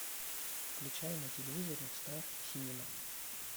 включай на телевизоре стар синема